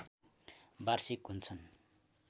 वार्षिक हुन्छन्